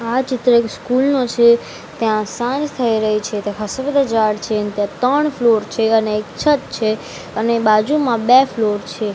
આ ચિત્ર એક સ્કૂલ નો છે ત્યાં સાંજ થઈ રહી છે ત્યા ખાસ્સા બધા ઝાડ છે ત્યા ત્રણ ફ્લોર છે અને એક છત છે અને બાજુમાં બે ફ્લોર છે.